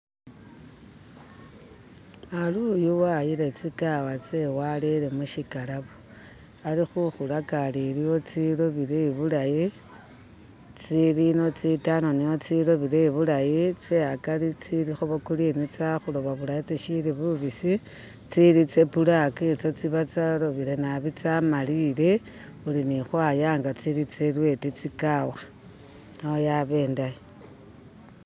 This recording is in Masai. ari u'yu wayile tsigala tse'we walele mushikalabo alikhukhu laga ali aliwo tsi'robele bulayi tsi'limu tsi'tambamu tsi'lobele bulayi tse'akari tsi'limu bwa'gurini tsitsi khu'loba bu'layi tsi'li bu'bisi tsili tsabulaka tsiba tsalobele naabi tsa'malile khulini hwaya nga tsilirwedi tsikawa neyaba indayi